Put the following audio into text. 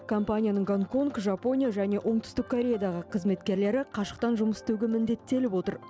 компанияның гонконг жапония және оңтүстік кореядағы қызметкерлері қашықтан жұмыс істеуге міндеттеліп отыр